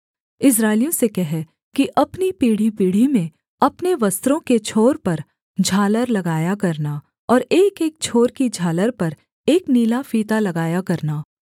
इस्राएलियों से कह कि अपनी पीढ़ीपीढ़ी में अपने वस्त्रों के छोर पर झालर लगाया करना और एकएक छोर की झालर पर एक नीला फीता लगाया करना